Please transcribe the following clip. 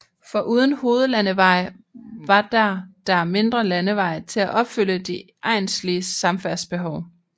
Foruden hovedlandeveje var der der mindre landeveje til at opfylde de egnslige samfærdselsbehov